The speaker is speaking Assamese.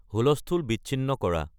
হুলস্থুল বিচ্ছিন্ন কৰা